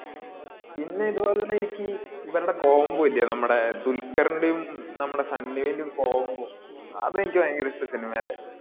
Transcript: പിന്നെ ഇതുപോലെന്നെ എനിക്കി ഇവരുടെ combo ഇല്ലേ നമ്മടെ ദുൽഖ്റിന്റേം നമ്മടെ സണ്ണി വെയിന്റേം combo അത് എനിക്ക് ഭയങ്കര ഇഷ്ടാ cinema ലെ.